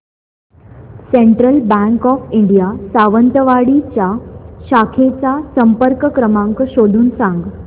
central bank of India Sawantwadi च्या शाखेचा संपर्क क्रमांक शोधून सांग